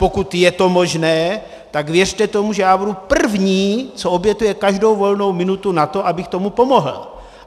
Pokud je to možné, tak věřte tomu, že já budu první, co obětuje každou volnou minutu na to, abych tomu pomohl.